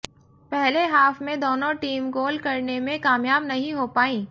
पहले हाफ में दोनों टीम गोल करने में कामयाब नहीं हो पाई